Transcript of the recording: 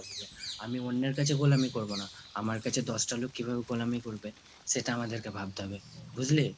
আমি অন্যের কাছে গোলামী করবো না, আমার কাছে দশ টা লোক কিভাবে গোলামী করবে সেটা আমাদেরকে ভাবতে হবে, বুঝলি?